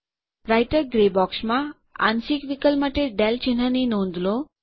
writer grey બોક્સમાં આંશિક વિકલ માટે del ચિન્હની નોંધ લો